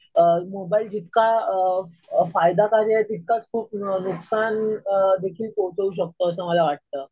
Mobile जितका फायदाकारी आहे तितकाच खूप नुकसान देखील पोहोचवू शकतो असं मला वाटतं.